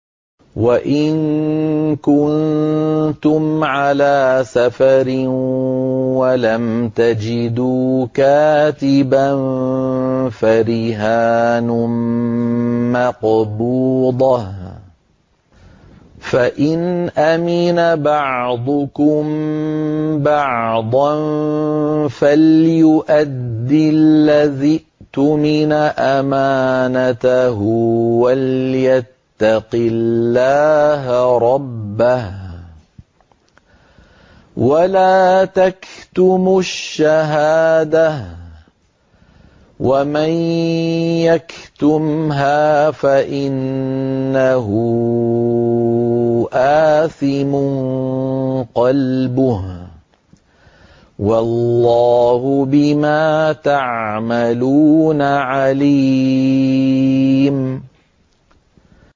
۞ وَإِن كُنتُمْ عَلَىٰ سَفَرٍ وَلَمْ تَجِدُوا كَاتِبًا فَرِهَانٌ مَّقْبُوضَةٌ ۖ فَإِنْ أَمِنَ بَعْضُكُم بَعْضًا فَلْيُؤَدِّ الَّذِي اؤْتُمِنَ أَمَانَتَهُ وَلْيَتَّقِ اللَّهَ رَبَّهُ ۗ وَلَا تَكْتُمُوا الشَّهَادَةَ ۚ وَمَن يَكْتُمْهَا فَإِنَّهُ آثِمٌ قَلْبُهُ ۗ وَاللَّهُ بِمَا تَعْمَلُونَ عَلِيمٌ